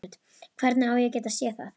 Hvernig á ég að geta séð það?